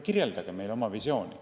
Kirjeldage meile oma visiooni.